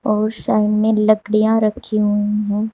और सामने लकड़ियाँ रखी हुई हैं।